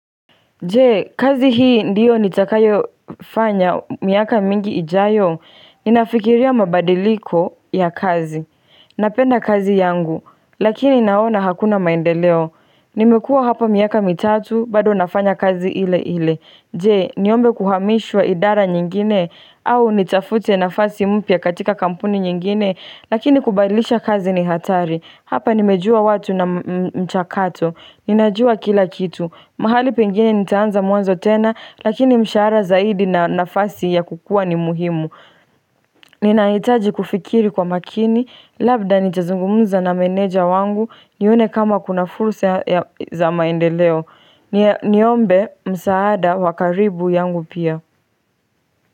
Je, kazi hii ndiyo nitakayofanya miaka mingi ijayo, inafikiria mabadiliko ya kazi, napenda kazi yangu, lakini naona hakuna maendeleo, nimekua hapa miaka mitatu, bado nafanya kazi ile ile, je, niombe kuhamishwa idara nyingine, au nitafute nafasi mpya katika kampuni nyingine, lakini kubadilisha kazi ni hatari, hapa nimejua watu na mchakato, ninajua kila kitu, mahali pengine nitaanza mwanzo tena, lakini msharaha zaidi na nafasi ya kukua ni muhimu. Ninahitaji kufikiri kwa makini, labda nitazungumuza na meneja wangu, nione kama kuna fursa za maendeleo. Niombe msaada wa karibu yangu pia.